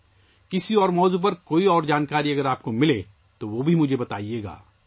اگر آپ کسی اور موضوع پر مزید معلومات حاصل کریں تو مجھے بھی بتائیں